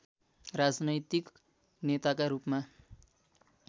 राजनैतिक नेताका रूपमा